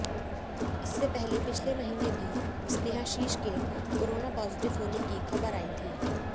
इससे पहले पिछले महीने भी स्नेहाशीष के कोरोना पॉजिटिव होने की खबरें आई थी